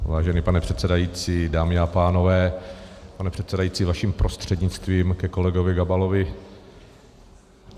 Vážená pane předsedající, dámy a pánové, pane předsedající, vaším prostřednictvím ke kolegovi Gabalovi.